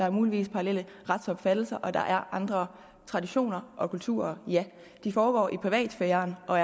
er muligvis paralleller retsopfattelser og der er andre traditioner og kulturer det foregår i privatsfæren og